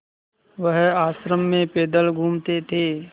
वह आश्रम में पैदल घूमते थे